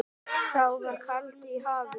Þá var kaldi í hafinu.